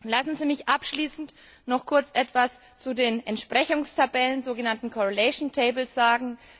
Lassen Sie mich abschließend noch kurz etwas zu den Entsprechungstabellen, den sogenannten correlation tables sagen.